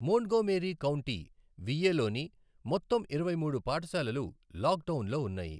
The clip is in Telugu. మోంట్గోమేరీ కౌంటీ, విఏ లోని మొత్తం ఇరవై మూడు పాఠశాలలు లాక్డౌన్లో ఉన్నాయి.